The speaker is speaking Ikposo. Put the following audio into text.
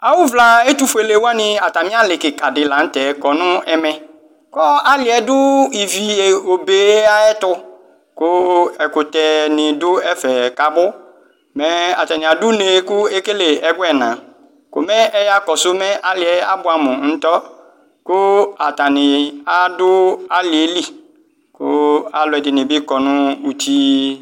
Awʋvla ɛtʋfuele niwani atami ali kika di lanʋ tɛ kɔnʋ ɛmɛ kʋ ali yɛ ɔdʋ ivi obe yɛ ayʋ ɛtʋ kʋ ɛkʋtɛni dʋ ɛfɛni kʋ abʋ mɛ atani adʋ une kʋ ekele ɛgɔ ɛna ɛya kɔsʋ mɛ aliyɛ abʋe amʋ ŋtɔ kʋ atani adʋ ali yɛli kʋ alʋ ɛdini bi kɔ nʋ ʋti